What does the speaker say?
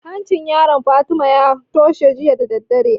Hancin yaron Fatima ya toshe jiya da daddare